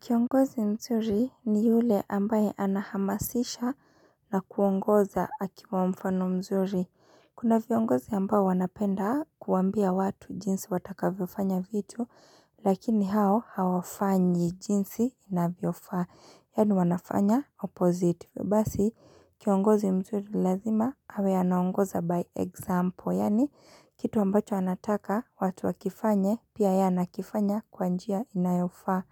Kiongozi mzuri ni yule ambaye anahamasisha na kuongoza akiwa mfano mzuri. Kuna viongozi ambao wanapenda kuambia watu jinsi watakavyofanya vitu, lakini hao hawafanyi jinsi inavyofaa. Yaani wanafanya opposite. Basi, kiongozi mzuri lazima, awe anawangoza by example. Yaani, kitu ambacho anataka watu wakifanye pia yeye anakifanya kwa njia inayofaa.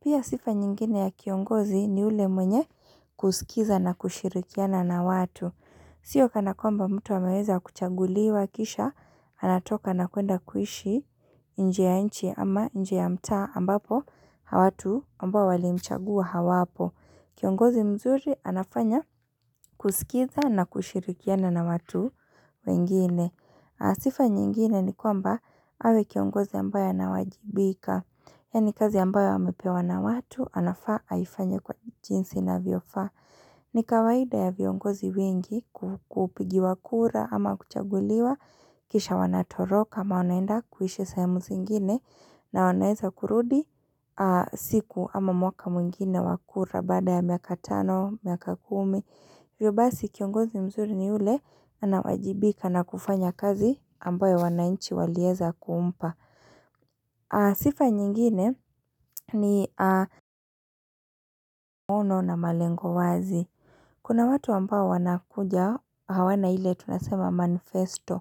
Pia sifa nyingine ya kiongozi ni ule mwenye kusikiza na kushirikiana na watu. Sio kana kwamba mtu ameweza kuchaguliwa kisha anatoka na kuenda kuishi nje ya nchi ama nje ya mtaa ambapo watu ambao walimchagua hawapo. Kiongozi mzuri anafanya kusikiza na kushirikiana na watu wengine. Sifa nyingine ni kwamba awe kiongozi ambayo anawajibika. Yaani kazi ambayo amepewa na watu anafaa aifanya kwa jinsi inavyofaa. Ni kawaida ya viongozi wengi kupigi wakura ama kuchaguliwa. Kisha wanatoroka ama wanaenda kuhisha sahemu zingine. Na wanaeza kurudi siku ama mwaka mwingine wa kura baada ya miaka tano, miaka kumi Hivyo basi kiongozi mzuri ni ule anawajibika na kufanya kazi ambayo wananchi waleeza kumpa Sifa nyingine ni maono na malengo wazi Kuna watu wampao wanakuja hawana ile tunasema manifesto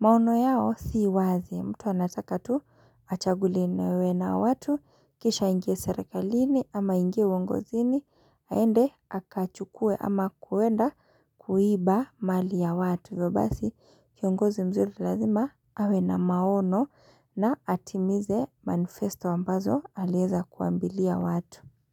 maono yao si wazi mtu anataka tu achaguliwe na watu kisha aingie serakalini ama ingie uongozini haende akachukue ama kuenda kuiba mali ya watu. Hivyo basi kiongozi mzuri lazima awe na maono na atimize manifesto ambazo alieza kuambilia watu.